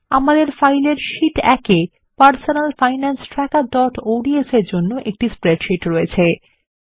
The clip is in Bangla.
আমাদের ফাইলের শীট ১ এ personal finance trackerঅডস -এর জন্য একটি স্প্রেডশীট রয়েছে